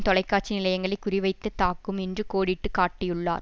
தொலைக்காட்சி நிலையங்களை குறிவைத்து தாக்கும் என்று கோடிட்டு காட்டியுள்ளார்